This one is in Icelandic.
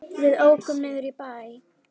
Við ókum niður í bæ.